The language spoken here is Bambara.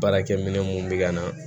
Baarakɛ minɛ mun bɛ ka na